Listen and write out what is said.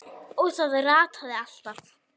Og hann rataði alltaf.